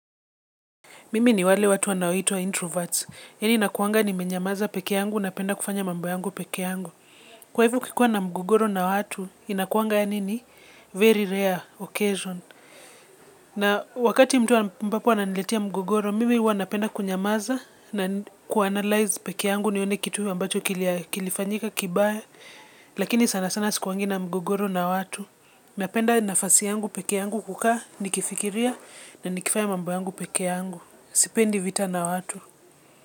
Mimi ni wale watu anaitwa introverts. Yeni nakuanga ni menyamaza peke yangu na penda kufanya mambu yangu peke yangu. Kwa hivo kikuwa na mgogoro na watu, inakuanga ya nini? Very rare occasion. Na wakati mtu mpapo ananiletia mgogoro, mimi wana penda kunyamaza na kuanalyze peke yangu. Nione kitu ambacho kilifanyika kibaya. Lakini sana sana sikuwangi na mgogoro na watu. Meapenda nafasi yangu peke yangu kukaa, nikifikiria na nikifaya mambo yangu peke yangu. Sipendi vita na watu.